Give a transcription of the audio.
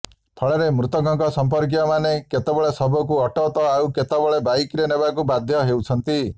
ଫଳରେ ମୃତକଙ୍କ ସଂପର୍କୀୟ ମାନେ କେତେବେଳେ ଶବକୁ ଅଟୋ ତ ଆଉ କେତେବେଳେ ବାଇକ୍ରେ ନେବାକୁ ବାଧ୍ୟ ହେଉଛନ୍ତି